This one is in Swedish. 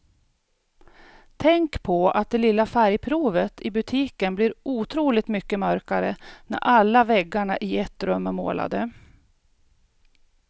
Tänk på att det lilla färgprovet i butiken blir otroligt mycket mörkare när alla väggarna i ett rum är målade.